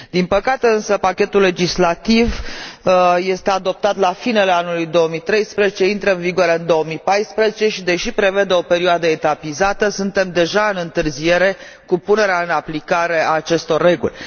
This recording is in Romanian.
Din păcate, însă, pachetul legislativ este adoptat la finele anului 2013, intră în vigoare în 2014 și, deși prevede o perioadă etapizată, suntem deja în întârziere cu punerea în aplicare a acestor reguli.